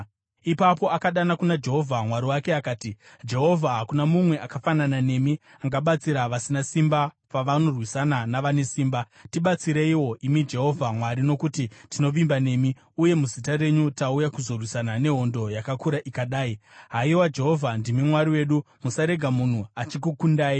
Ipapo akadana kuna Jehovha Mwari wake akati, “Jehovha, hakuna mumwe akafanana nemi angabatsira vasina simba pavanorwisana navane simba. Tibatsireiwo, imi Jehovha Mwari, nokuti tinovimba nemi, uye muzita renyu tauya kuzorwisana nehondo yakakura ikadai. Haiwa Jehovha, ndimi Mwari wedu; musarega munhu achikukundai.”